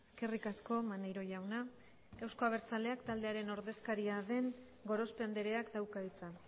eskerrik asko maneiro jauna euzko abertzaleak taldearen ordezkaria den gorospe andreak dauka hitza